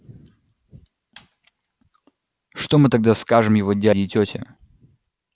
что мы тогда скажем его дяде и тёте